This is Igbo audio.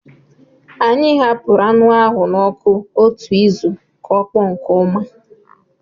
Anyị hapụrụ anụ ahụ n'ọkụ otu izu ka ọ kpọọ nke ọma